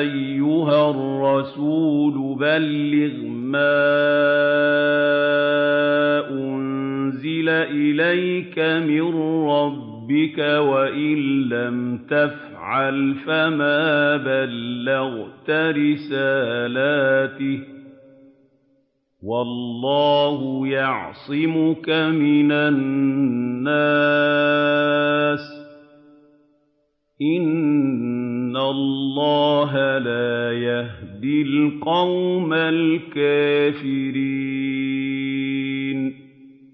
أَيُّهَا الرَّسُولُ بَلِّغْ مَا أُنزِلَ إِلَيْكَ مِن رَّبِّكَ ۖ وَإِن لَّمْ تَفْعَلْ فَمَا بَلَّغْتَ رِسَالَتَهُ ۚ وَاللَّهُ يَعْصِمُكَ مِنَ النَّاسِ ۗ إِنَّ اللَّهَ لَا يَهْدِي الْقَوْمَ الْكَافِرِينَ